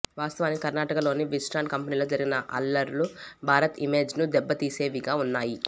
వాస్తవానికి కర్ణాటకలోని విస్ట్రాన్ కంపెనీలో జరగిన అల్లర్లు భారత్ ఇమేజ్ను దెబ్బతీసేవిగా ఉన్నాయి